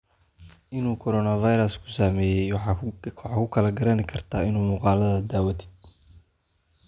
Inu korona fairas kusameye waxa kukaranikartaa ina muqaladha dhawatidh.